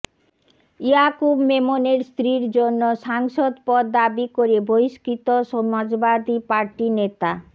ইয়াকুব মেমনের স্ত্রীর জন্য সাংসদ পদ দাবি করে বহিষ্কৃত সমাজবাদী পার্টি নেতা